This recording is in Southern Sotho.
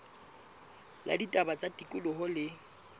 la ditaba tsa tikoloho le